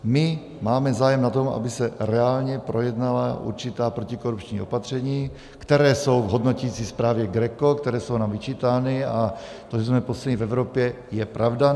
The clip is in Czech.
My máme zájem na tom, aby se reálně projednala určitá protikorupční opatření, která jsou v hodnoticí zprávě GRECO, která jsou nám vyčítána, a to, že jsme poslední v Evropě, je pravda.